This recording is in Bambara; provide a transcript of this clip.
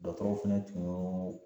Dɔgɔtɔrɔw fɛnɛ tun y'o